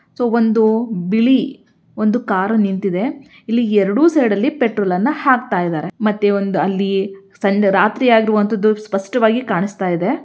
So ಒಂದು ಬಿಳಿ ಒಂದು ಕಾರು ನಿಂತಿದೆ ಇಲ್ಲಿ ಎರೆಡು ಸೈಡ್ ಅಲ್ಲಿ ಪೆಟ್ರೋಲ್ ಅನ್ನ ಹಾಕ್ತಾಯಿದಾರೆ ಮತ್ತೆ ಒಂದು ಅಲ್ಲಿ ಸಣ್ಣ ರಾತ್ರಿ ಆಗಿರುವಂತದ್ದು ಸ್ಪಷ್ಟವಾಗಿ ಕಾಣಿಸ್ತಾಯಿದೆ.